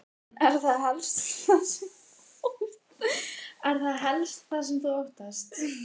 Karen: Er það helst það sem þú óttast?